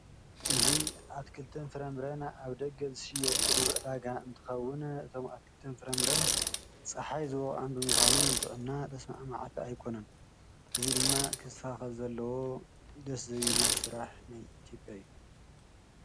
እዚ ኣትክልትን ፈረምረን ኣብ ደገ ዝሽየጥሉ ዕዳጋ እንትከዉን እቶም ኣትክልትን ፈረምረን ጸሓይ ዝወቀዖም ብምካኑ ንጥዕና ተስማዕማዕቲ ኣይኮኑን፤ እዚ ድማ ክስተካከል ዘለዎ ደስ ዘይብል ስራሕ ናይ ኢትዮጵያ እዩ።